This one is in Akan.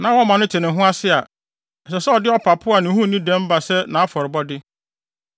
na wɔma no te ne ho ase a, ɛsɛ sɛ ɔde ɔpapo a ne ho nni dɛm ba sɛ nʼafɔrebɔde.